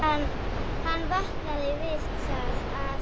Hann vaknaði við það að